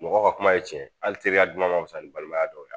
Mɔgɔw ka kuma ye tiɲɛ hali teriya duman ma fisa ni balimaya dɔw ye